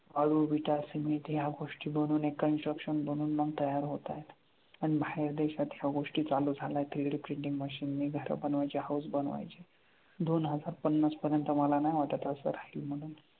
वाळू, विटा, सिमेंट ह्या गोष्टी बनून construction बनून मग तयार होतायत अन बाहेर देशात ह्या गोष्टी चालू झाल्या three D printing machine नी घरं बनवायची, house बनवायची. दोन हजार पन्नास पर्यंत मला नाही वाटत असं राहील म्हणून.